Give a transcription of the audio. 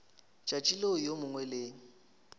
tšatši leo yo mongwe le